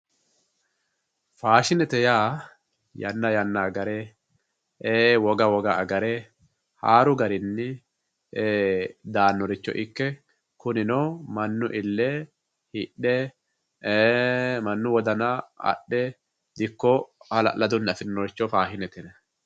Faashinete yaa yanna yanna agare woga woga agare haaru garinni daannoricho ikke kunino mannu ille hidhe mannu wodana adhe dikko hala'ladunni afiirinoricho faashinete yinanni.